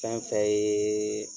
Fɛn fɛn ye